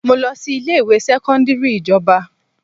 Mo lọ sí ilé ìwé sẹ́kọ́ńdírì ìjọba.